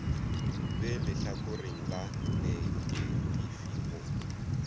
be lehlakore la neketifi go